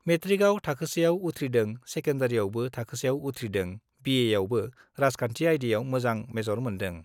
मेट्रिकआव थाखोसेआव उथ्रिदों, सेकेन्डारीयावबो थाखोसेआव उथ्रिदों, बिएआवबो राजखान्थि आयदायाव मोजां मेजर मोन्दों।